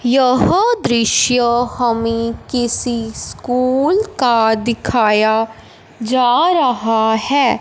यह दृश्य हमे किसी स्कूल का दिखाया जा रहा हैं।